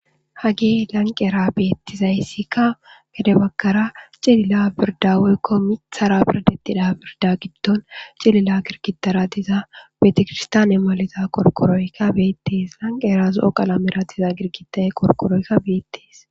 Hage lanqera beetizaysika pude bagara cilila birda woyko mithara birdetira birda gidon cililo gidgidara diza beetekiristiyane mala gidiza qorqoroy beetes lanqera zo'o kalamera diza gidgiday qorqoroy beetes.